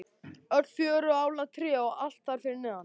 Öll fjögurra álna tré og allt þar fyrir neðan.